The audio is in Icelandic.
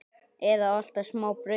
Eða alltaf smá brauði?